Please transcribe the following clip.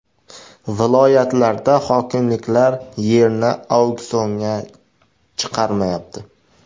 Viloyatlarda hokimliklar yerni auksionga chiqarmayapti.